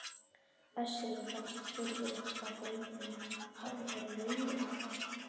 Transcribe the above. Össuri fannst furðulegt hvað draumurinn hafði verið raunverulegur.